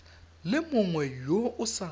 le mongwe yo o sa